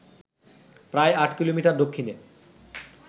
প্রায় ৮ কিলোমিটার দক্ষিণে